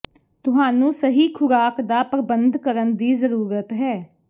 ਤੁਹਾਨੂੰ ਸਹੀ ਖ਼ੁਰਾਕ ਦਾ ਪ੍ਰਬੰਧ ਕਰਨ ਦੀ ਜ਼ਰੂਰਤ ਹੈ